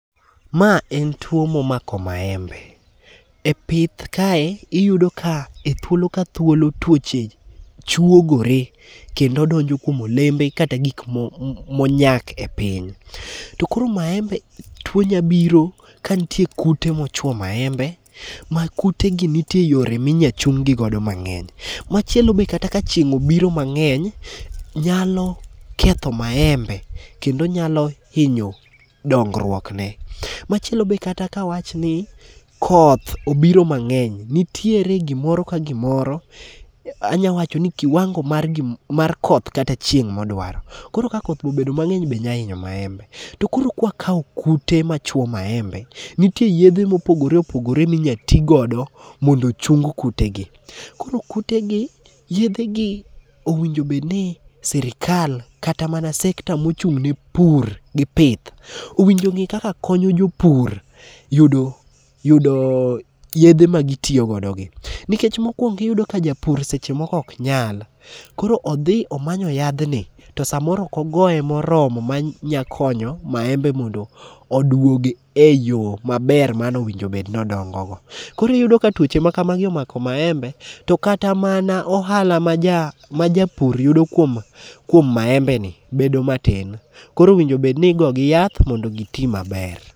Ma en tuo momako maembe. E pith kae iyudo ka ethuolo ka thuolo tuoche chuogore kendo donjo kuom olembe kata gik monyak e piny. To koro maembe tuo nyabiro ka nitie kute mochwo maembe. Ma kute gi nitie yore minyal chung gi go do mang'eny. Machielo be kata ka chieng' obiro mang'eny nyalo ketho maembe kendo nyalo hinyo dongruok ne. Machielo be kata ka wach ni koth obiro mang'eny nitiere gimoro ka gimoro. Anyawacho ni kiwangol mar koth kata chieng' modwaro. Koro ka koth be obedo mang'eny be nya hinyo maembe. To koro ka wakao kute ma chwo maembe, nitie yedhe mopogore opogore mi nya tigodo mondo ochung kute gi. Koro kute gi yedhe gi owinjo bed ni sirikal kata mana sector mochung ne pur gi pith owinjo ng'i kaka konyo jopur yudo yedhe ma gitiyogodo gi. Nikech mokwongo iyudo ka japur seche moko ok nyal. Koro odhi omanyo yadhni to samoro ok ogoye moromo ma nyakonyo maembe mondo odwog e yo maber mano winj obed ni odongogo. Koro iyudo ka twoche ma kamagi omako maembe, to kata mana ohala ma japur yudo kuom maembe ni bedo matin. Koro owinjo bed ni igo gi yath mondo gi ti maber.